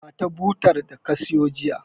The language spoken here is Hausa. Ba ta botar da ka siyo jiya.